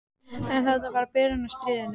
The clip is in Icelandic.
En þetta var bara byrjunin á stríðinu.